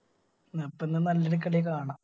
എന്ന പിന്നെ നല്ലൊരു കളി കാണാ